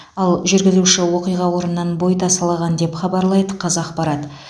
ал жүргізуші оқиға орнынан бой тасалаған деп хабарлайды қазақпарат